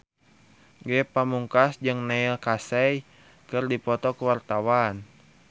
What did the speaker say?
Ge Pamungkas jeung Neil Casey keur dipoto ku wartawan